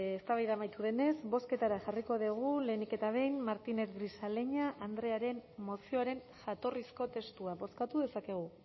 eztabaida amaitu denez bozketara jarriko dugu lehenik eta behin martínez grisaleña andrearen mozioaren jatorrizko testua bozkatu dezakegu